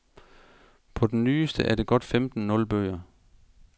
På den nyeste er der godt femten nul bøger.